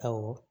Awɔ